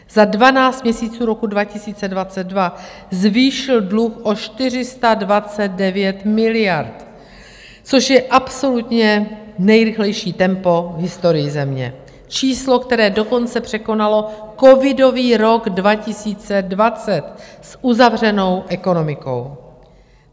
Za dvanáct měsíců roku 2022 zvýšil dluh o 429 miliard, což je absolutně nejrychlejší tempo v historii země, číslo, které dokonce překonalo covidový rok 2020 s uzavřenou ekonomikou.